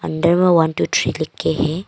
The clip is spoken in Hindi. अंदर में वान टू थ्री लिखे हैं।